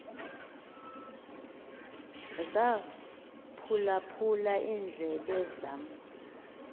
zaphulaphul iindlebe zam